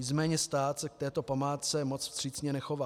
Nicméně stát se k této památce moc vstřícně nechová.